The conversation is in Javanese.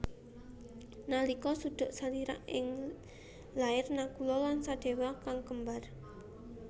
Nalika suduk salira iku lair Nakula lan Sadewa kang kembar